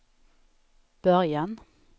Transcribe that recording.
början